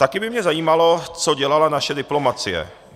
Taky by mě zajímalo, co dělala naše diplomacie.